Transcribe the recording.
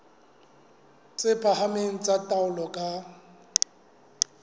tse phahameng tsa taolo ka